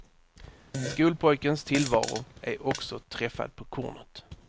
Skolpojkens tillvaro är också träffad på kornet.